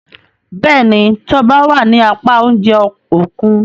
Béèni Toba wá ní apá oúnjẹ Òkun.